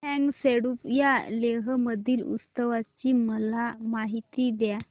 फ्यांग सेडुप या लेह मधील उत्सवाची मला माहिती द्या